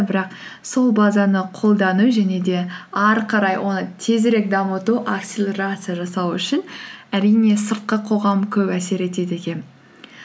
бірақ сол базаны қолдану және де әрі қарай оны тезірек дамыту акселерация жасау үшін әрине сыртқы қоғам көп әсер етеді екен